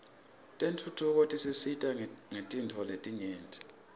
tentfutfuko tisisita ngetintfo letinyenti